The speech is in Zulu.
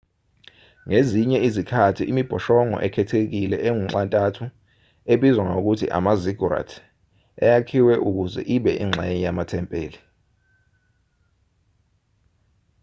ngezinye izikhathi imibhoshongo ekhethekile engunxa-ntathu ebizwa ngokuthi ama-ziggurat yayakhiwe ukuze ibe ingxenye yamathempeli